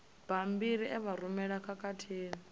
bammbiri e vha rumelwa khathihi